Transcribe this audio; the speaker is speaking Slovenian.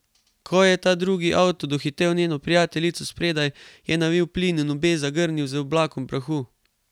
Ko je ta drugi avto dohitel njeno prijateljico spredaj, je navil plin in obe zagrnil z oblakom prahu.